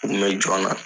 U kun bɛ jɔn na